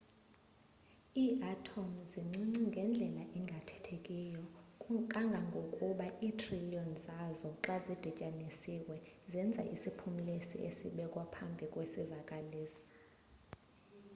iiatom zincinci ngendlela engathethekiyo kangangokuba iithriliyoni zazo xa zidityanisiwe zenza isiphumlisi esibekwa ekupheleni kwesivakalisi